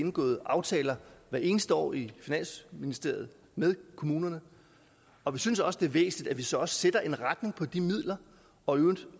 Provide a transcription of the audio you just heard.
indgået aftaler hvert eneste år i finansministeriet med kommunerne og vi synes også det er væsentligt at vi så også sætter en retning for de midler og i øvrigt